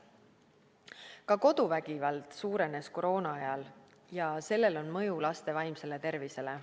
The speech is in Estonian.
Ka koduvägivald suurenes koroonaajal ja sellel on mõju laste vaimsele tervisele.